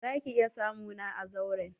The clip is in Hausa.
Za ki iƴa samu na a zauren?